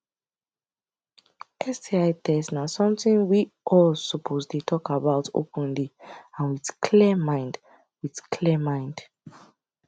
sti test na something we all suppose dey talk about openly and with clear mind with clear mind